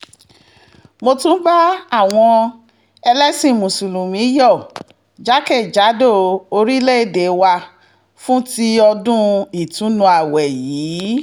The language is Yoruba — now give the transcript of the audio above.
mo tún bá àwọn ẹlẹ́sìn mùsùlùmí yọ̀ jákè-jádò orílẹ̀‐èdè wa fún ti ọdún ìtùnú ààwẹ̀ yìí